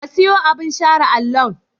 Ka siyo abin share allon?